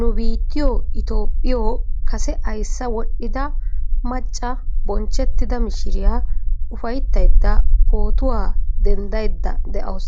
Nu biittiyoo itoophphiyoo kase ayssa wodhida macca bonchchettida mishiriyaa ufayttayda pootuwaa denddaydda de'awus.